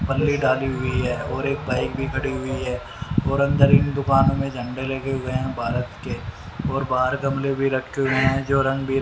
पल्ली डाली हुई है और एक बाइक भी खड़ी हुई है और अंदर इन दुकानों में झंडे लेके गए हैं भारत के और बाहर गमले भी रखे हुए हैं जो रंग--